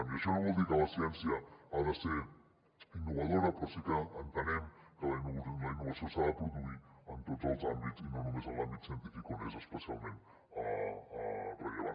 i això no vol dir que la ciència no hagi de ser innovadora però sí que entenem que la innovació s’ha de produir en tots els àmbits i no només en l’àmbit científic on és especialment rellevant